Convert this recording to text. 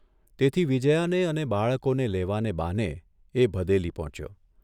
તેથી વિજ્યાને અને બાળકોને લેવાને બહાને એ ભદેલી પહોંચ્યો.